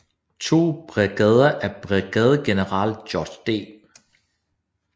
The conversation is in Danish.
To brigader af brigadegeneral George D